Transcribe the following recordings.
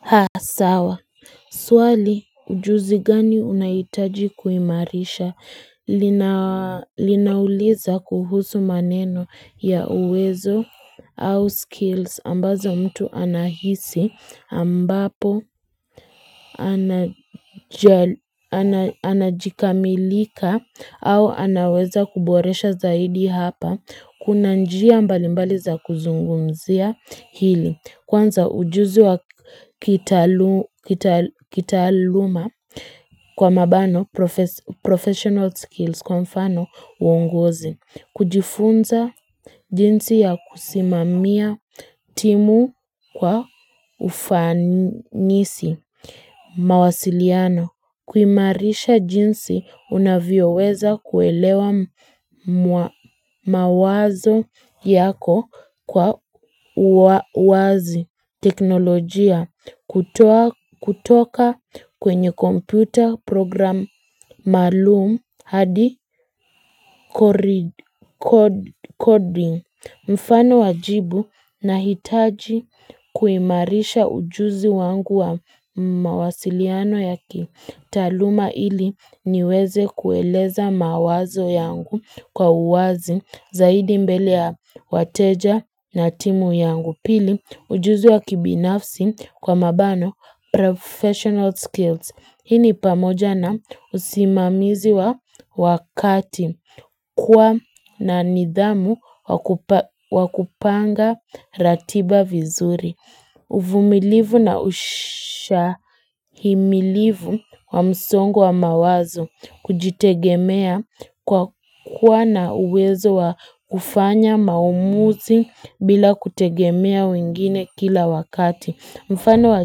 Haa sawa swali ujuzi gani unahitaji kuimarisha linauliza kuhusu maneno ya uwezo au skills ambazo mtu anahisi ambapo anajikamilika au anaweza kuboresha zaidi hapa kuna njia mbali mbali za kuzungumzia hili Kwanza ujuzi wa kitaluma kwa mabano professional skills kwa mfano uungozi. Kujifunza jinsi ya kusimamia timu kwa ufanisi mawasiliano. Kuimarisha jinsi unavyoweza kuelewa mawazo yako kwa wazi teknolojia kutoka kwenye computer program maalum hadi coding. Mfano wa jibu, nahitaji kuimarisha ujuzi wangu wa mawasiliano ya kitaaluma ili niweze kueleza mawazo yangu kwa uwazi zaidi mbele ya wateja na timu yangu. Pili, ujuzi wa kibinafsi kwa mabano professional skills. Hii ni pamoja na usimamizi wa wakati kuwa na nidhamu wa kupanga ratiba vizuri. Uvumilivu na ushahimilivu wa msongo wa mawazo kujitegemea kwa kuwa na uwezo wa kufanya maamuzi bila kutegemea wengine kila wakati. Mfano wa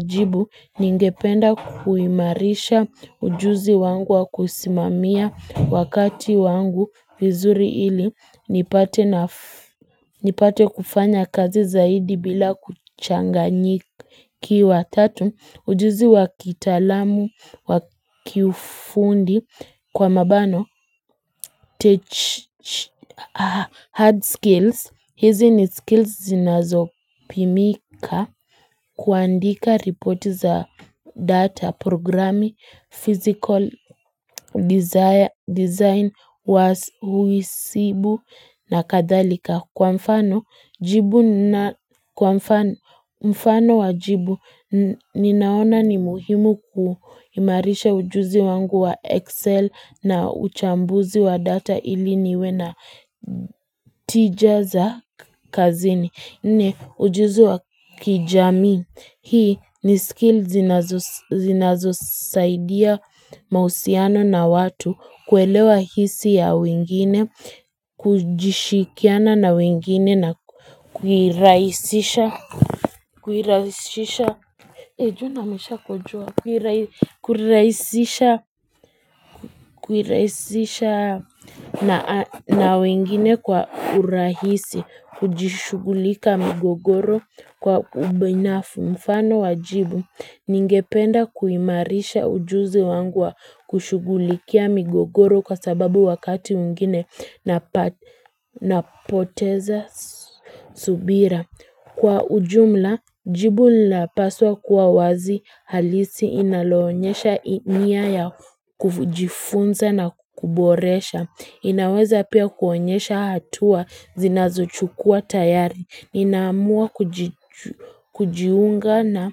jibu ningependa kuimarisha ujuzi wangu wa kusimamia wakati wangu vizuri ili nipate kufanya kazi zaidi bila kuchanganyikiwa tatu. Ujuzi wa kitaalamu, wa kifundi kwa mabano, hard skills, hizi ni skills zinazopimika kuandika report za data, programi, physical design wa uisibu na kadhalika. Kwa mfano wa jibu, ninaona ni muhimu kuimarisha ujuzi wangu wa Excel na uchambuzi wa data ili niwe na tija za kazini. Ni ujuzu wa kijamii, hii ni skill zinazosaidia mahusiano na watu kuelewa hisi ya wengine, kujishikiana na wengine na kuirahisisha Kuirahisisha Ejuna misha kujua Kuiraisisha Kuiraisisha na wengine kwa urahisi. Kujishughulika migogoro Kwa ubinafu. Mfano wa jibu, Ningependa kuimarisha ujuzi wangu wa kushughulikia migogoro kwa sababu wakati mwingine Napoteza subira Kwa ujumla, jibu lapaswa kuwa wazi halisi inaloonyesha nia ya kujifunza na kuboresha. Inaweza pia kuonyesha hatua zinazochukua tayari. Ninaamua kujiunga na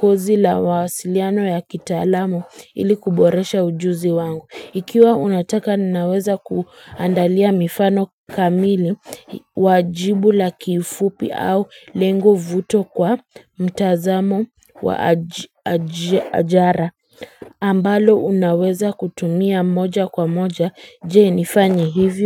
kozi la mawasiliano ya kitaalamu ili kuboresha ujuzi wangu. Ikiwa unataka ninaweza kuandalia mifano kamili wa jibu la kifupi au lengo vuto kwa mtazamo wa ajara ambalo unaweza kutumia moja kwa moja je nifanye hivyo.